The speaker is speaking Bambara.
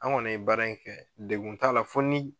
An kɔni ye baara in kɛ degun t'a la fo ni